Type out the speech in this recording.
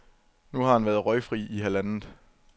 Nu har han været røgfri i halvandet, .